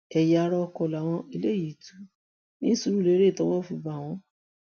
ẹyà ara oko làwọn eléyìí ń jí tu ní surulère tọwọ fi bá wọn